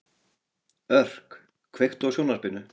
Örk, kveiktu á sjónvarpinu.